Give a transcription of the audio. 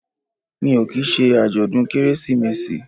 Mi ò kì í ṣe àjọ̀dún Kérésìmesì